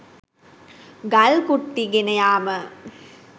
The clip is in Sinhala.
ගල් කුට්ටි ගෙන යාම